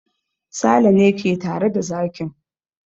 Sale ne ke tare da zakin.